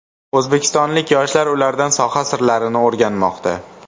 O‘zbekistonlik yoshlar ulardan soha sirlarini o‘rganmoqda.